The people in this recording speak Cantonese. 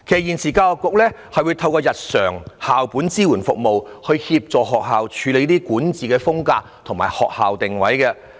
現時教育局會透過日常校本支援服務，協助學校建立管治風格及教學定位。